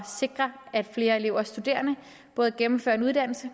sikre at flere elever og studerende både gennemfører en uddannelse